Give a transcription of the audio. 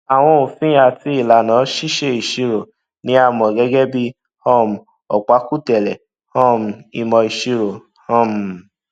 àwọn òfin àti ìlànà ṣíṣe ìṣirò ni a mọ gẹgẹ bí um ọpákùtẹlẹ um ìmọ ìṣirò um